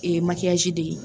Ee makiyasi de ye